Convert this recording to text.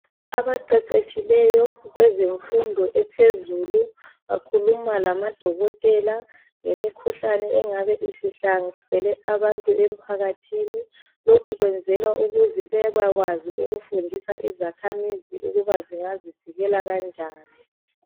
Abaqeqetshileyo kwezemfundo ephezulu bakhuluma lamadokotela ngemikhuhlane engabe isihlasele abantu emphakathini lokhu kwenzelwa ukuze bebekwazi ukufundisa izakhamizi ukuba zingazivikela kanjani.